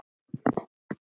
Þú segir það!